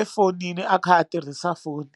efonini a kha a tirhisa foni.